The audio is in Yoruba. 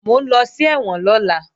Mò ń lọ sí ẹ̀wọ̀n lọ́la